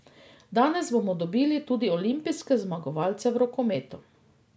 Danes bomo dobili tudi olimpijske zmagovalce v rokometu.